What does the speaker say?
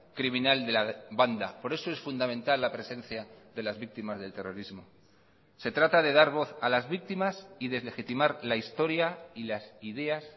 criminal de la banda por eso es fundamental la presencia de las víctimas del terrorismo se trata de dar voz a las víctimas y deslegitimar la historia y las ideas